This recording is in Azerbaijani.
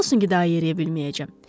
Nə olsun ki, daha yeriyə bilməyəcəm?